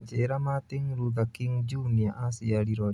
njĩira Martin Luther King junior acĩarĩrwo rĩ